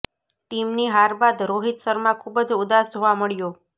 ટીમની હાર બાદ રોહિત શર્મા ખૂબ જ ઉદાસ જોવા મળ્યો